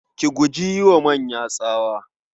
Ki guji yi wa manya tsawa.